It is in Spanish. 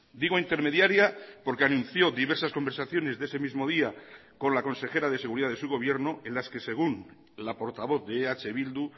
digo intermediaria porque anunció diversas conversaciones de ese mismo día con la consejera de seguridad de su gobierno en las que según la portavoz de eh bildu